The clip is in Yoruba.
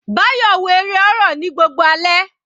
Bayo wo eré horror ní gbogbo alẹ́.